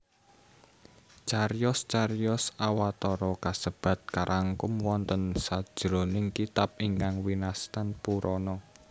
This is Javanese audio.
Cariyos cariyos Awatara kasebat karangkum wonten sajroning kitab ingkang winastan Purana